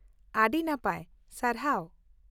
ᱟᱹᱰᱤ ᱱᱟᱯᱟᱭ, ᱥᱟᱨᱦᱟᱣ᱾